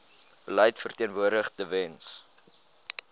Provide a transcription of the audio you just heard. beleid verteenwoordig tewens